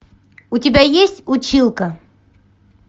у тебя есть училка